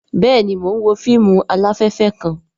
Bẹẹni, Mo n wo fíìmù alafẹfẹ kàn